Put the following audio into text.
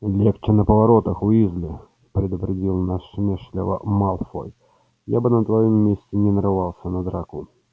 легче на поворотах уизли предупредил насмешливо малфой я бы на твоём месте не нарывался на драку